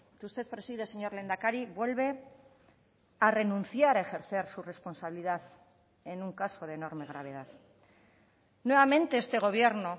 que usted preside señor lehendakari vuelve a renunciar a ejercer su responsabilidad en un caso de enorme gravedad nuevamente este gobierno